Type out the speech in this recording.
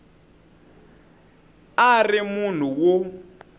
a a ri munhu wo